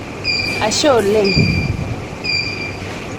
ashe oleng'